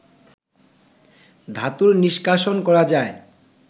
ধাতু নিষ্কাশন করা যায়